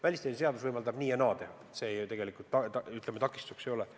Välisteenistuse seadus võimaldab nii ja naa teha, seadus tegelikult takistuseks ei ole.